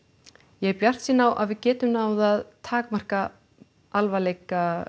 ég er bjartsýn á að við getum náð að takmarka alvarleika